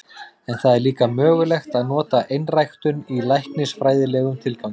En það er líka mögulegt að nota einræktun í læknisfræðilegum tilgangi.